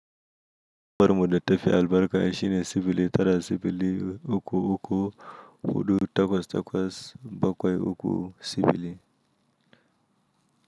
Bar muda tefi albarka shine sufuli tara sufuli uku uku hudu takwas takwas bakwai uku sufuli.